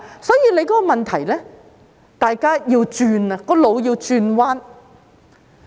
所以，問題是大家要轉變，腦袋要轉彎。